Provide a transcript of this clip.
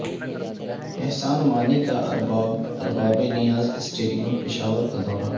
احسان مانی کا ارباب نیاز اسٹیڈیم پشاور کا دورہ